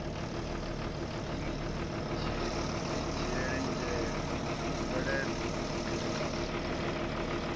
ni dzhiele nzhele mupeleṱo khethekanyo